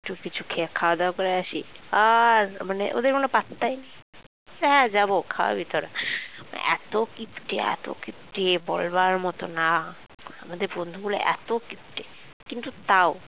একটু কিছু খাওয়া দাওয়া করে আসি আর মানে ওদের কোন পাত্তাই নেই কোথায় আর যাবো খাওয়াবি তোরা এত কিপটে এত কিপটে বলবার মতো না মানে আমাদের বন্ধুগুলো এত কিপটে কিন্তু তাও